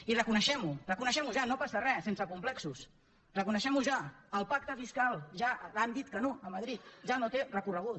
i reconeguem ho reconeguem ho ja no passa re sense complexos reconeguem ho ja el pacte fiscal ja han dit que no a madrid ja no té recorregut